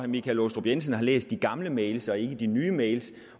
michael aastrup jensen har læst de gamle mails og ikke de nye mails